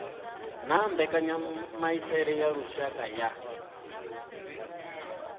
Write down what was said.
na mbekanyamaitele ya lushaka ya